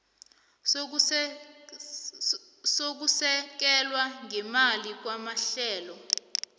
sokusekelwa ngeemali kwamahlelo